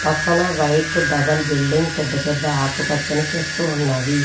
పక్కన white double building పెద్ద పెద్ద ఆకుపచ్చని చెట్లు ఉన్నవి.